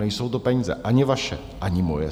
Nejsou to peníze ani vaše, ani moje.